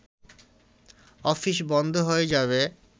office বন্ধ হয়ে যাবে